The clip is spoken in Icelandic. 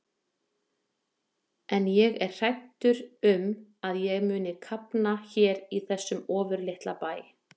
En ég er hræddur um að ég mundi kafna hér í þessum ofurlitla bæ.